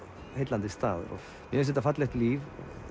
heillandi staður mér finnst þetta fallegt líf